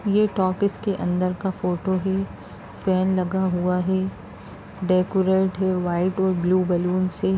ये टॉकीज के अंदर का फोटो है। फैन लगा हुआ है। डेकोरेट है वाइट और ब्लू बलून से।